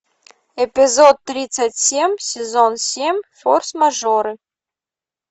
эпизод тридцать семь сезон семь форс мажоры